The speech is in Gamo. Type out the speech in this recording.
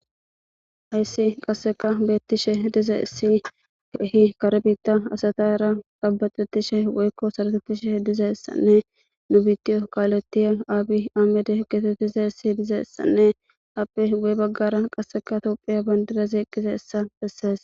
Hayissi qasika besishe dizayisi kehi kare bitha asatara ca'baxetishe woyiko sarotetishe dizayisanne nu bitiyo kaletiya abiyi ahimede getetizayiti dizayisanne appe guye bagara tophiya bandira eqidi dizayisa beses